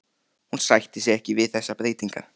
Hún sætti sig ekki við þessar breytingar!